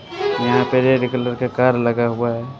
यहां पे red colour car लगा हुआ है।